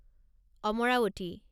Amaravati